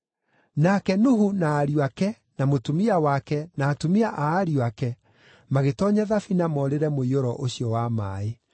Nake Nuhu na ariũ ake na mũtumia wake na atumia a ariũ ake magĩtoonya thabina morĩre mũiyũro ũcio wa maaĩ.